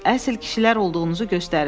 Əsl kişilər olduğunuzu göstərin.